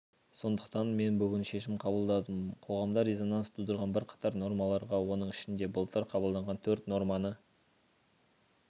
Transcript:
сондықтан мен бүгін шешім қабылдадым қоғамда резонанс тудырған бірқатар нормаларға оның ішінде былтыр қабылданған төрт норманы